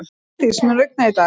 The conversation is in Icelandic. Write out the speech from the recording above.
Bryndís, mun rigna í dag?